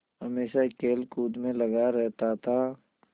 हमेशा खेलकूद में लगा रहता था